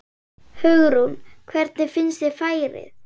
Hugrún: Hvernig finnst þér færið?